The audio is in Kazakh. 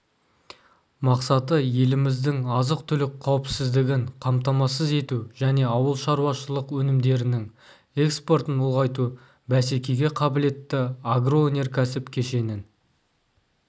мақсаты еліміздің азық-түлік қауіпсіздігін қамтамасыз ету және ауылшаруашылық өнімдерінің экспортын ұлғайту бәсекеге қабілетті агроөнеркәсіп кешенін